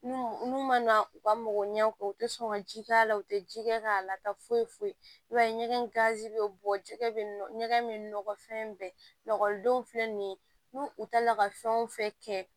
N'u ma na u ka mago ɲɛ kɔ u te sɔn ka ji k'a la u te ji kɛ k'a lata foyi foyi i b'a ye ɲɛgɛn ganzi be bɔ jɛgɛ bɛ ɲɛgɛn be nɔgɔ fɛn bɛɛ la ekɔlidenw filɛ nin ye n'u u taa la ka fɛn o fɛn kɛ